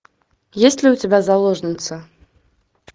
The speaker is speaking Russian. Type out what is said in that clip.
есть ли у тебя заложница